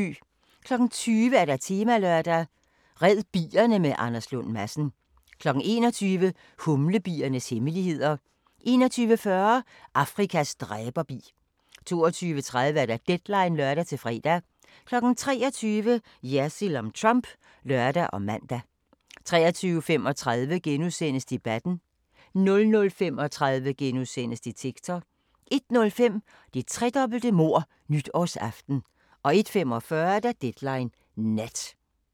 20:00: Temalørdag: Red bierne med Anders Lund Madsen 21:00: Humlebiernes hemmeligheder 21:40: Afrikas dræberbi 22:30: Deadline (lør-fre) 23:00: Jersild om Trump (lør og man) 23:35: Debatten * 00:35: Detektor * 01:05: Det tredobbelte mord nytårsaften 01:45: Deadline Nat